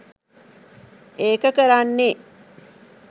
ඒක කරන්නේ